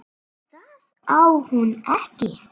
Það á hún ekki.